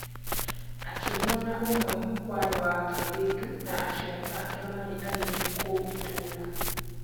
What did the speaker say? Akĩmwona ũmwe warĩ wa kairĩtu na aciari ake marĩ arĩmi kũu itũra